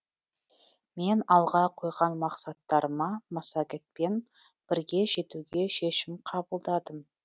мен алға қойған мақсаттарыма массагетпен бірге жетуге шешім қабылдадым